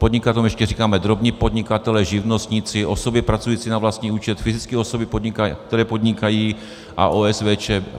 Podnikatelům ještě říkáme drobní podnikatelé, živnostníci, osoby pracující na vlastní účet, fyzické osoby, které podnikají, a OSVČ.